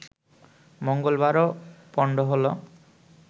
মঙ্গলবারও পণ্ড হলো